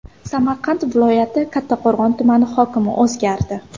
Samarqand viloyati Kattaqo‘rg‘on tumani hokimi o‘zgardi.